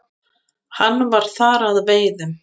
Hann var þar að veiðum.